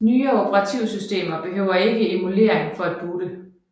Nyere operativsystemer behøver ikke emulering for at boote